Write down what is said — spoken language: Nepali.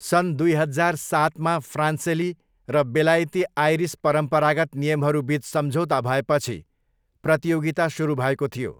सन् दुई हजार सातमा फ्रान्सेली र बेलायती आयरिस परम्परागत नियमहरू बिच सम्झौता भएपछि प्रतियोगिता सुरु भएको थियो।